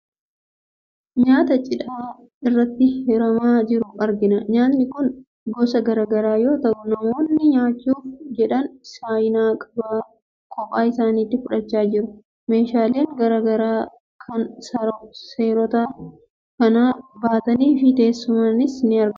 Nyaata cidha irratti hiramaa jiru argina. Nyaatni kun gosa garaa garaa yoo ta'u, namoonni nyaachuuf jedhan saayinaa qophaa isaaniitti fudhachaa jiru. Meeshaaleen garaa garaa kan soorata kana baatanii fi teessumnis ni argamu.